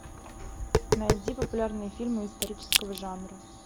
найди популярные фильмы исторического жанра